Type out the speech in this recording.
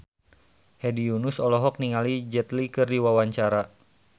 Hedi Yunus olohok ningali Jet Li keur diwawancara